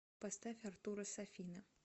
поставь артуро сафина